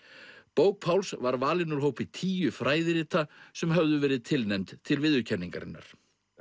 bók Páls var valin úr hópi tíu fræðirita sem höfðu verið tilnefnd til viðurkenningarinnar